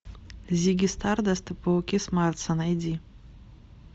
зигги стардаст и пауки с марса найди